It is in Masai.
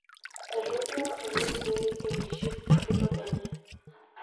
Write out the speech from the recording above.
Etonyuaa oleng pee eitiship enkitok enye.